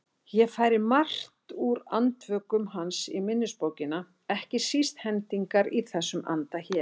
Ég færi margt úr Andvökum hans í minnisbókina, ekki síst hendingar í þessum anda hér